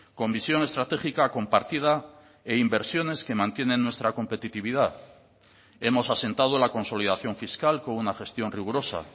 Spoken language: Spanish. con visión estratégica compartida e inversiones que mantienen nuestra competitividad hemos asentado la consolidación fiscal con una gestión rigurosa